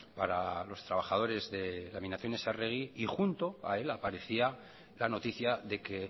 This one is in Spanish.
para los trabajadores de laminaciones arregui y junto a él aparecía la noticia de que